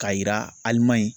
K'a yira ALIMAƝI.